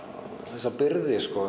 þessa byrði